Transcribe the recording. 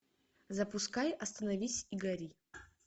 запускай остановись и гори